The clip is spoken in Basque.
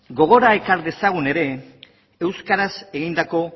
gogora ekar dezagun ere euskaraz egindako